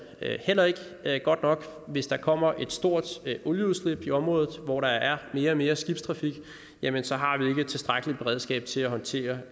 heller ikke godt nok hvis der kommer et stort olieudslip i området hvor der er mere og mere skibstrafik jamen så har vi ikke et tilstrækkeligt beredskab til at håndtere